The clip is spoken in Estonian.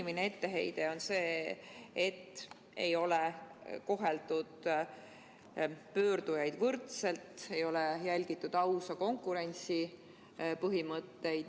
Põhiline etteheide on see, et ei ole koheldud pöördujaid võrdselt, ei ole järgitud ausa konkurentsi põhimõtteid.